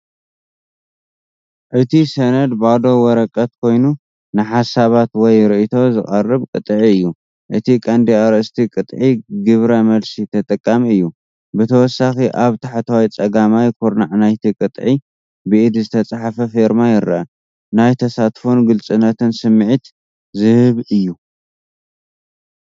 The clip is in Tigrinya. እቲ ሰነድ ባዶ ወረቐት ኮይኑ ንሓሳባት ወይ ርእይቶ ዝቐርብ ቅጥዒ እዩ። እቲ ቀንዲ ኣርእስቲ "ቅጥዒ ግብረ መልሲ ተጠቃሚ" እዩ። ብተወሳኺ ኣብ ታሕተዋይ ጸጋማይ ኩርናዕ ናይቲ ቅጥዒ ብኢድ ዝተጻሕፈ ፌርማ ይርአ። ናይ ተሳትፎን ግሉጽነትን ስምዒት ዝህብ እዩ፤